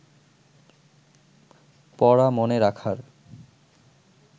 পড়া মনে রাখার